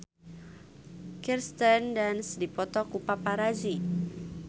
Kirsten Dunst dipoto ku paparazi